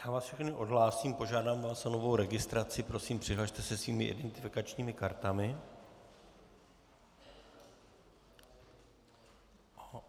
Já vás všechny odhlásím, požádám vás o novou registraci, prosím, přihlaste se svými identifikačními kartami.